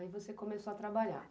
Aí você começou a trabalhar?